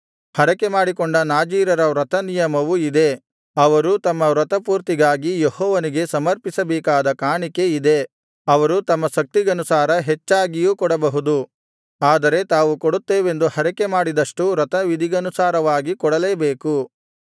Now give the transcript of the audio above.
ಹರಕೆಮಾಡಿಕೊಂಡ ನಾಜೀರರ ವ್ರತ ನಿಯಮವು ಇದೇ ಅವರು ತಮ್ಮ ವ್ರತಪೂರ್ತಿಗಾಗಿ ಯೆಹೋವನಿಗೆ ಸಮರ್ಪಿಸಬೇಕಾದ ಕಾಣಿಕೆ ಇದೇ ಅವರು ತಮ್ಮ ಶಕ್ತಿಗನುಸಾರ ಹೆಚ್ಚಾಗಿಯೂ ಕೊಡಬಹುದು ಆದರೆ ತಾವು ಕೊಡುತ್ತೆವೆಂದು ಹರಕೆಮಾಡಿದಷ್ಟು ವ್ರತವಿಧಿಗನುಸಾರವಾಗಿ ಕೊಡಲೇಬೇಕು